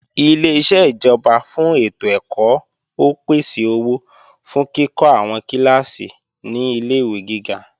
Ileṣẹ́ ìjọba fún ètò ẹ̀kọ́ ó pèsè owó fún kíkọ́ àwọn kíláàsì ní ilé-ìwé gíga